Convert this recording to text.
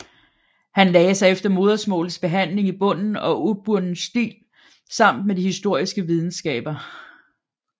Han lagde sig efter modersmålets behandling i bunden og ubunden stil samt med de historiske videnskaber